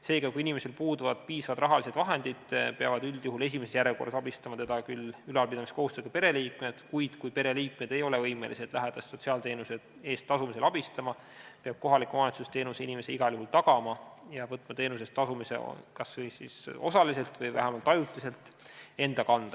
Seega, kui inimesel puuduvad piisavad rahalised vahendid, peavad üldjuhul esimeses järjekorras abistama teda küll ülalpidamiskohustusega pereliikmed, kuid kui pereliikmed ei ole võimelised lähedast sotsiaalteenuse eest tasumisel abistama, peab kohalik omavalitsus teenuse inimesele igal juhul tagama ja võtma teenuse eest tasumise enda kanda, kas osaliselt või vähemalt ajutiselt.